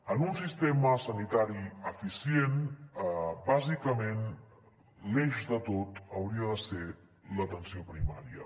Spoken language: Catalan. en un sistema sanitari eficient bàsicament l’eix de tot hauria de ser l’atenció primària